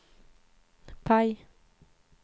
PIE